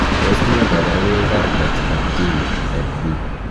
Tos nee koborunoikab Brachydactyly type B?